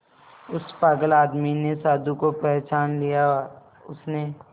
उस पागल आदमी ने साधु को पहचान लिया उसने